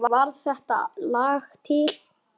Þannig varð þetta lag til.